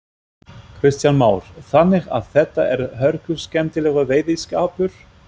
Kristján Már: Þannig að þetta er hörkuskemmtilegur veiðiskapur?